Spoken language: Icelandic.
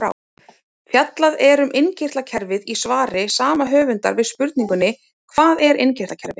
Fjallað er um innkirtlakerfið í svari sama höfundar við spurningunni Hvað er innkirtlakerfi?